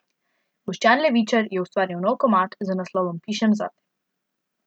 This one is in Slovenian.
Boštjan Levičar je ustvaril nov komad z naslovom Pišem zate.